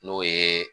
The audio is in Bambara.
N'o ye